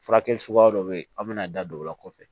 Furakɛ suguya dɔ bɛ yen aw bɛna da don o la kɔfɛ